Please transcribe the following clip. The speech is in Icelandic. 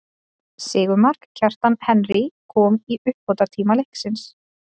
Sigurmark, Kjartans Henry kom í uppbótartíma leiksins.